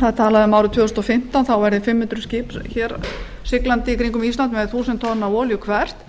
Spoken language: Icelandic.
talað er um að árið tvö þúsund og fimmtán sigli fimm hundruð skip í kringum ísland með þúsund tonn af olíu hvert